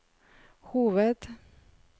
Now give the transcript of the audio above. hoved